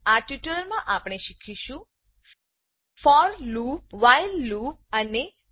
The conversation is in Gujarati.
આ ટ્યુટોરીયલમાં આપણે શીખીશું for loop for loop while loop while લુપઅને dowhile લૂપ